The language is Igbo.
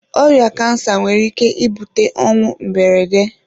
Ọrịa kansa nwere ike ibute ọnwụ mberede.